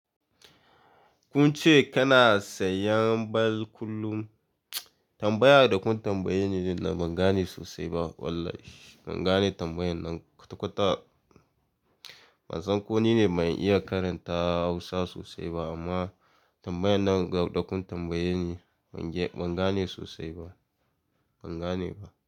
Kunce kana sayan ball kullum tambaya da kun tambayeni ne ban gane sosai ba wallahi ban gane tambayan nan kwata-kwata. Ban san ko nine ban iya karanta hausa sosai ba amma tambayan nan da kun tambaye ni ban gane sosai ba ban gane ba.